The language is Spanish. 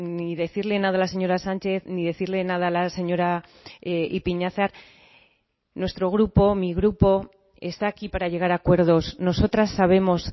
ni decirle nada a la señora sánchez ni decirle nada a la señora ipiñazar nuestro grupo mi grupo está aquí para llegar a acuerdos nosotras sabemos